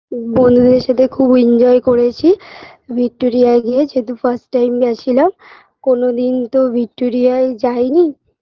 বন্ধুদের সাথে খুব enjoy করেছি ভিক্টোরিয়ায় গিয়ে যেহেতু first time গেছিলাম কোনদিন তো ভিক্টোরিয়ায় যায়নি